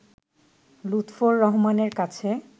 লুৎফর রহমানের কাছে